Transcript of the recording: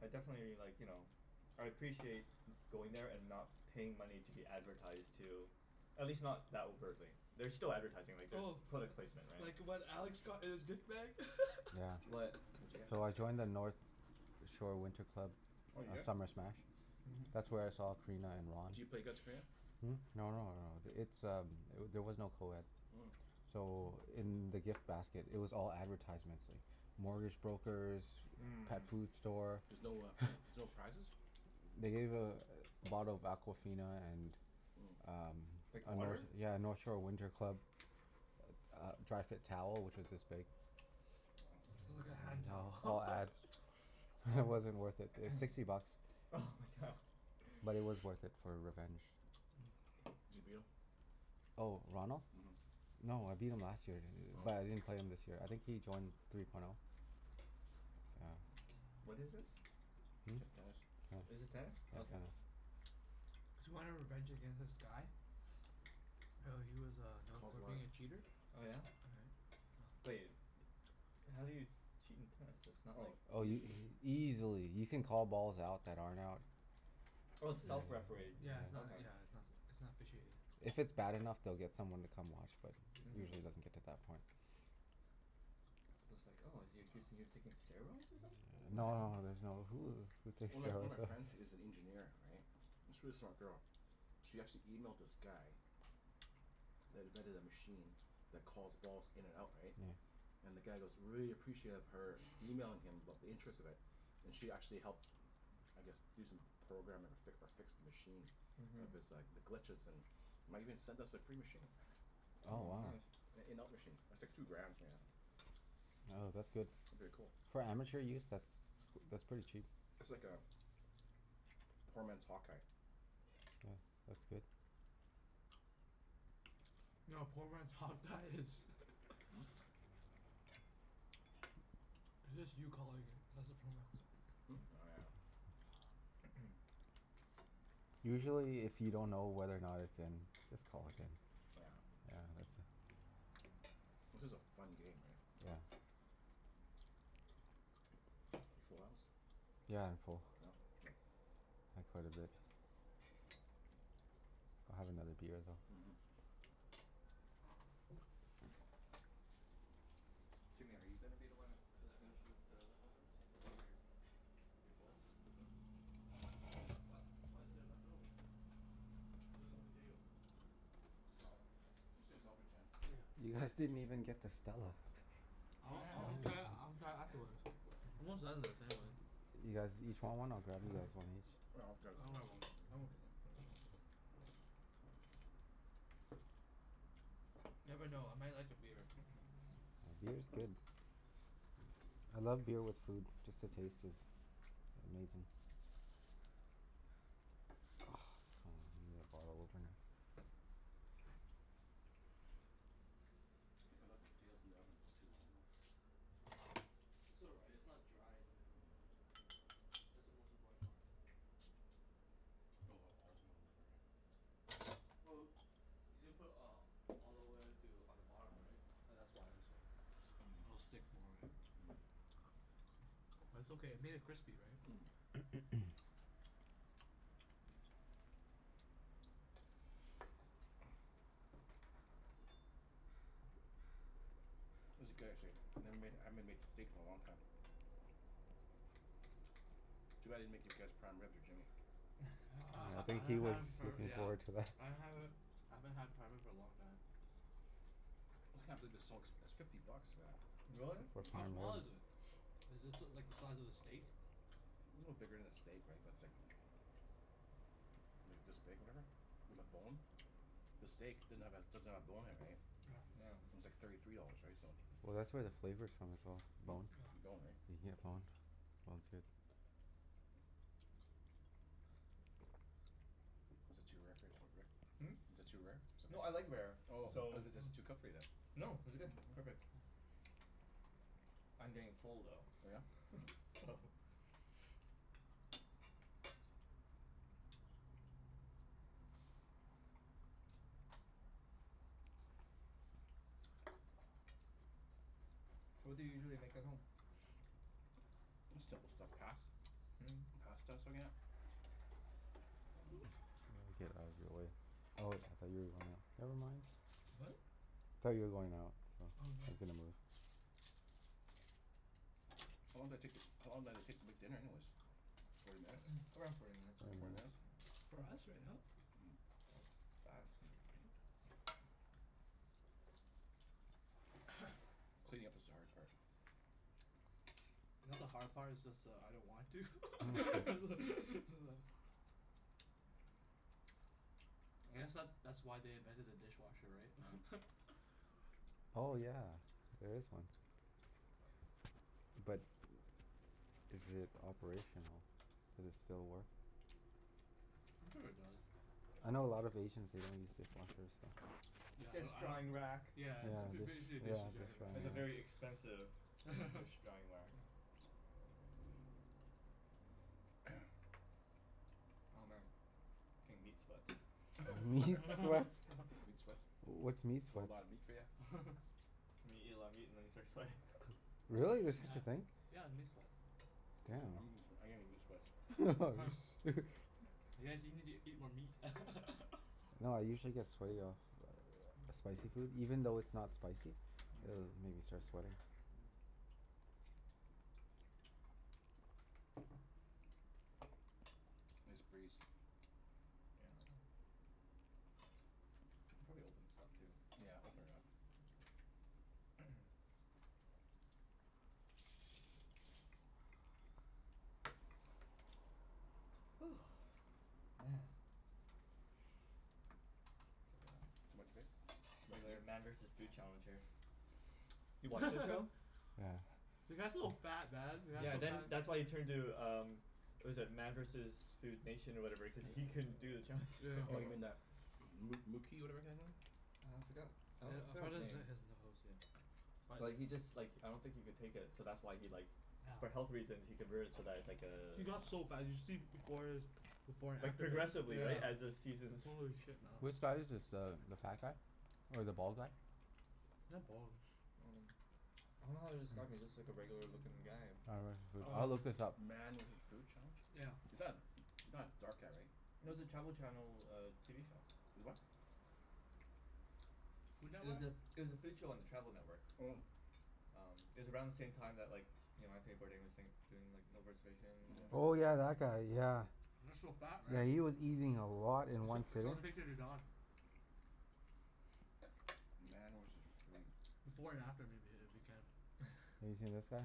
I definitely like, you know I appreciate going there and not paying money to be advertised to. At least not that overtly. There's still advertising. Like, there's Oh. product placement, right? Like what Alex got in his gift bag? Yeah. What? What did you get? So I joined the North Shore Winter Club Oh did ya? Summer Smash. That's where I saw Corina and Ron. Do you play against Corina? Hmm? No no no, it's um eh- there was no coed. Mm. So in the gift basket it was all advertisements like mortgage brokers Mhm. pet food store. There's no uh there's no prizes? They Mm. gave a bottle of Aquafina and Mm. um Like a Nort- water? yeah, a North Shore Winter Club a uh dry fit towel, which was this big. Wow. It's like a hand towel. All ads. Wow It wasn't worth it. It was sixty bucks. oh my god. But it was worth it for revenge. Zee beetle? Oh, Ronald? Mhm. No, I beat him last year. Oh. But I didn't play him this year. I think he joined three point oh. Yeah. What is this? Hmm? T- tennis. Oh. Is Yeah, this tennis? Mm. tennis. Okay. Mm. Cuz you wanted revenge against this guy? Yeah, he was uh known Cold for war. being a cheater. Oh yeah? But Right? Yeah. y- how do you cheat in tennis? It's not Oh. like Oh y- Easily. easily. You can call balls out that aren't out. Oh, it's Yeah. self-refereed. Yeah, it's not Okay. yeah, it's not s- it's not officiated. If it's bad enough, they'll get someone to come watch but usually it doesn't Mhm. get to that point. I was like, "Oh, is he accusing you of taking steroids or No no something?" no, there's no, who who takes One of my one of steroids? my friends is an engineer, right? It's really smart girl. She actually emailed this guy that invented a machine that calls balls in and out, Yeah. right? And the guy goes really appreciative of her emailing him about the interest of it. And she actually helped I guess do some programming or fic- or fix the machine. Mhm. Of his like, the glitches and might even send us a free machine. Oh, Oh wow. nice. An in-out machine. It's like two grand, something like that. Oh, that's good. It'd be a cool. For amateur use? That's g- that's pretty cheap. It's like a poor man's hawk eye. Yeah. That's good. No, a poor man's hawk-eye is Hmm? It's just you calling it. That's a poor man's Hmm? Oh yeah. Usually if you don't know whether or not it's in just call it in. Oh yeah. Yeah, that's a This is a fun game, right? Yeah. You full house? Yeah, Yeah? I'm full. K. I had quite a bit. I'll have another beer though. Mhm. Jimmy, are you gonna be the one that just finishes the leftovers? Is that your your goal? What what what What is is it? there What? left over? Other than potatoes? Salad. Let's save the salad for Jen. Oh Yeah, You well Yeah. guys didn't even get to Stella. I y- want, I wanna yeah. try it, I wanna try it afterwards. I'm almost done this anyway. You guys Yeah, each want one? I'll grab you guys one each. I'll grab that I'll one. have one. I'm okay, for now. Oh. Never know. I might like a beer. Yeah, beer's good. I love beer with food. Just the taste is amazing. Oh, so I need a bottle opener. Mm. I think I left the potatoes in the oven a little too long, though. It's all right. It's not dry in the middle. No. No. That's the most important part. Put a lotta olive oil over it, right? Well, you didn't put uh olive oil too on the bottom, right? Oh, that's why it's so it'll stick more, right? But it's okay. It Mm. made it crispy, right? Mm. Mm. This is good, actually. I never made, I haven't m- made steaks in a long time. Too bad I didn't make you guess prime rib or Jimmy. I ha- Yeah, I ha- I think he haven't was had for looking yeah forward to that. I haven't I haven't had prime rib for a long time. I just can't believe it's so ex- it's fifty bucks for that. Really? For How Mhm. prime small rib. is it? A Is this l- like the size of a steak? little bigger than a steak, right? But it's like Maybe it's this big, whatever. With a Mm. bone. The steak didn't have a, doesn't have a bone in it, right? Yeah. It's like thirty three dollars, right? So Well that's where the Yeah. flavor's from, as well. The Hmm? bone. The bone, right? You can get boned. Bone's good. Yeah. Is it too rare for your st- Rick? Hmm? Is it too rare? Is it No, I okay? like rare, Oh, so is it is it too Oh. cooked for you, then? No, this is good. Perfect. I'm getting full Oh yeah? though Mm. so Oh. So what do you usually make at home? Just simple stuff. Pas- Mm. Pasta s- again Mm. Here let me get out of your way. Oh, I thought you were going out. Never mind. What? Thought you were going out so Oh, I was no. gonna move. How long did it take to, how long did it take to make dinner, anyways? Forty minutes? Around forty minutes I Forty Forty think, minutes? minutes. yeah. For us right now? That was fast. Mm. Cleaning up is the hard part. Not the hard part, it's just that I don't want to. I guess that that's why they invented a dishwasher, right? Oh yeah. There is one. But is it operational? Does it still work? Mm. I'm sure it does. I know a lot of Asians, they don't use dishwashers so Yeah, Dish I don't I drying don't rack. Yeah, Yeah, it's f- b- dish, yeah, dishes drying dish rack. drying It's a very rack. expensive dish drying whack. Yeah. Oh man, getting meat sweats. Meat sweats? Meat sweats? What's meat That's a whole sweats? lotta meat for ya? Meat, eat a lot of meat and then you start sweating. Oh, Really? There's such Yeah. a hmm. thing? Yeah, the meat sweat. Seriously? I'm Damn. gett- sw- I'm getting meat sweats. You guys you need to eat more meat. No, I usually get Mm. Mm. sweaty off spicy food. Even though it's not spicy it'll make me start sweating. Mm. Nice breeze. Yeah. Can probably open this up, too. Yeah, open it up. Woo. Man. It's Too much vape? Too much like a regulator meat? Man versus Food Challenge here. You watch that show? Yeah. The guy's so fat, man. The guy's Yeah, so then that's why fa- he turned to um what was it? Man versus Food Nation or whatever cuz he couldn't do the challenges Yeah. Oh, you anymore. mean that moo moo key whatever kinda thing? Uh, I forgot I don- forgot his name. But he just like I don't think he could take it, so that's why he like for health reasons he convert it so that it's like Yeah. uh He got so fat. You should see b- before his before and Like after pic, progressively, right? As the yeah. seasons Holy shit, man. Which guy is this? The the fat guy? Or the bald guy? Not bald. Um, I don't know how to describe him. He looks Hmm. like a regular lookin' guy. Oh right, foo- I'll Um look this up. Man with his food challenge? Yeah. Is that not a dark guy, right? No, it was a Travel Channel TV show. Is what? It was a, it was a food show on the Travel Network. Mm. Um, it was around the same time that like you know, Anthony Bourdain was saying, doing like No Reservations, and Oh yeah, Mhm. that guy. Yeah. Mm. He was so fat, right? Yeah, he was eating a lot in one Sh- sitting. show the picture to Don. Man was his food. Before and after, maybe. If you can. Have you seen this guy?